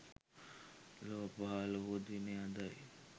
ලොව පහළ වූ දිනය අදයි.